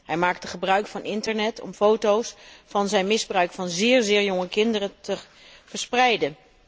Hij maakte gebruik van internet om foto's van zijn misbruik van zéér, zéér jonge kinderen te verspreiden.